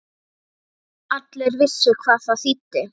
Allir vissu hvað það þýddi.